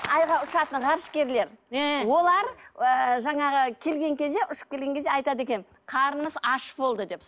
айға ұшатын ғарышкерлер ыыы олар ыыы жаңағы келген кезде ұшып келген кезде айтады екен қарынымыз аш болды деп